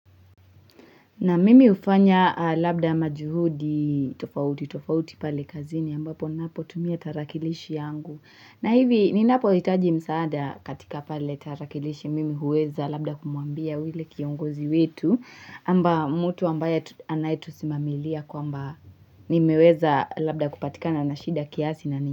Naam, mimi hufanya labda majuhudi tofauti, tofauti pale kazini ambapo ninapotumia tarakilishi yangu. Na hivi ninapohitaji msaada katika pale tarakilishi mimi huweza labda kumwambia yule kiongozi wetu kwamba mtu ambaye anayetusimamilia kwamba nimeweza labda kupatikana na shida kiasi na nini.